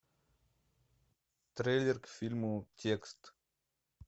трейлер к фильму текст